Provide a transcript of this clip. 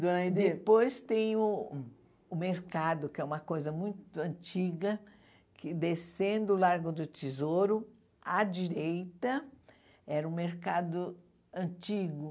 Ãh e depois tem o o mercado, que é uma coisa muito antiga, que, descendo o Largo do Tesouro, à direita, era um mercado antigo.